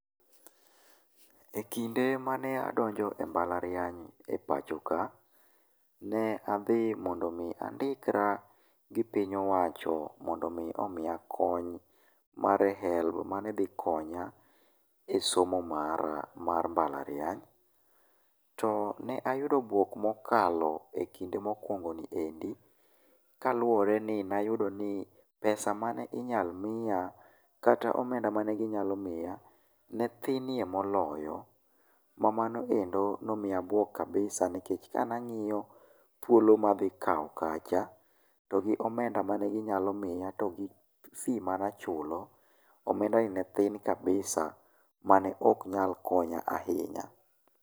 E kinde mane adonjo e mbalariany e pacho ka, ne adhi mondo mi andikra gi piny owacho mondo mi omiya kony mar HELB mane dhi konya e somo mara mar mbalariany, to ne ayudo buok mokalo e kinde mokuongo ni endi, kaluwore ni ne ayudo ni pesa mane inyal miya, kata omenda mane ginyalo miya ne thinie moloyo, ma mano endo nomiyo abuok kabisa nikech kane ang'iyo thuolo madhi kao kacha to gi omenda mane ginyalo miya to gi fee manachulo, omenda ni ne thin kabisa mane ok nyal konya ahinya.